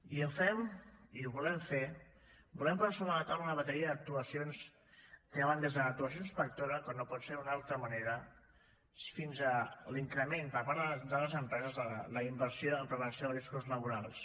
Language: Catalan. i ho fem i ho volem fer volem posar sobre la taula una bateria d’actuacions que van des l’actuació inspectora com no pot ser d’una altra manera fins a l’increment per part de les empreses de la inversió en prevenció de riscos laborals